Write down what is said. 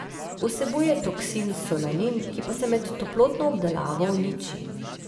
Vsebuje toksin solanin, ki pa se med toplotno obdelavo uniči.